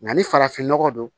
Nka ni farafinnɔgɔ don